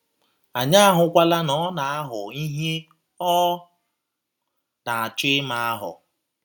Anyị ahụkwala na ọ na - ahọ ihe ọ na - achọ ịma ahọ